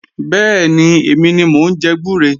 Bẹ́ẹ̀ni, èmi ni mò ń jẹ gbúre